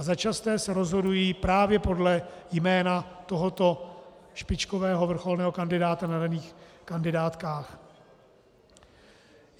A začasté se rozhodují právě podle jména tohoto špičkového, vrcholného kandidáta na daných kandidátkách.